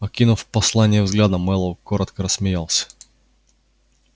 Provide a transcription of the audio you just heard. окинув послание взглядом мэллоу коротко рассмеялся